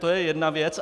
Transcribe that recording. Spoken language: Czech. To je jedna věc.